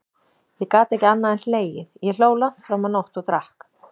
Ég gat ekki annað en hlegið, ég hló langt fram á nótt, og drakk.